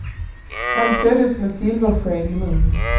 Han föddes med silversked i mun.